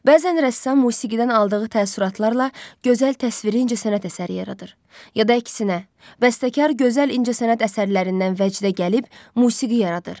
Bəzən rəssam musiqidən aldığı təəssüratlarla gözəl təsviri incəsənət əsəri yaradır, ya da əksinə, bəstəkar gözəl incəsənət əsərlərindən vəcdə gəlib musiqi yaradır.